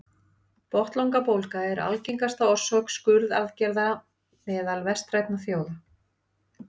botnlangabólga er algengasta orsök skurðaðgerða meðal vestrænna þjóða